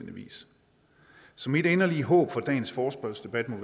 vis så mit inderlige håb for dagens forespørgselsdebat